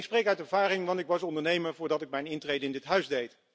Ik spreek uit ervaring, want ik was ondernemer voordat ik mijn intrede deed in dit huis.